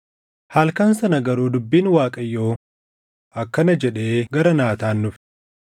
Halkan sana garuu dubbiin Waaqayyoo akkana jedhee gara Naataan dhufe: